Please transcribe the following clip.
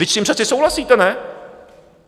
Vždyť s tím přece souhlasíte, ne?